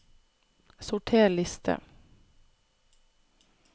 Sorter liste